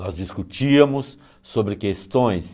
Nós discutíamos sobre questões.